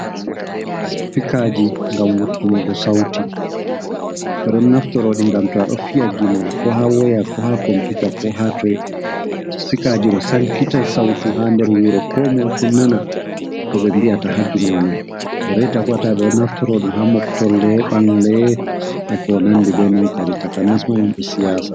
Sipikaaji ngam wurtunugo sawti ,ɓe ɗon naftora ɗi ngam to a ɗo fiya gimol ko haa woya ko haa komputa, ko haa toy. Sipikaaji ɗo sankitay sawtu haa nder wuro komoy fu nana ko ɓe mbi'ata ha gimol may. Reyta bo, ɓe ɗon naftoroɗum haa moptolle ɓangle e ko nanndi, be non kadi takanas ma himɓe siyaasa.